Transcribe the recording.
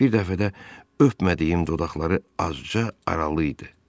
Bir dəfə də öpmədiyim dodaqları azca aralı idi.